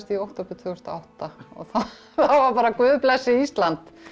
í október tvö þúsund og átta og það var bara Guð blessi Ísland